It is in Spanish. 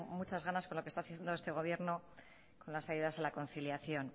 muchas ganas con lo que está haciendo este gobierno con las ayudas a la conciliación